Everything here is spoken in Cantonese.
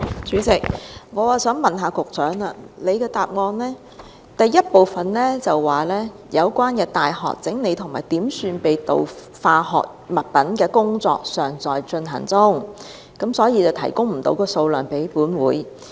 主席，我想問，局長在主體答覆的第一部分說，"相關大學整理及點算被盜化學物品的工作尚在進行中，故此暫時未能提供有關數量。